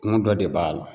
Kungo dɔ de b'a la